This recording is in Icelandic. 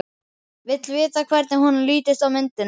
Vill vita hvernig honum lítist á myndina.